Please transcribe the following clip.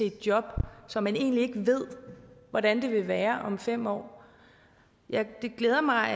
et job som man egentlig ikke ved hvordan vil være om fem år det glæder mig